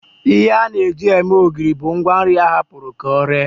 Ihe a na-eji eme ogiri bụ ngwanri a hapụrụ ka ọ ree